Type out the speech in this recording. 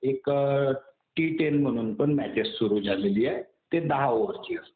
एक T ten म्हणून पण मॅचेस सुरु झालेली आहे. ते दहा ओव्हरची असते.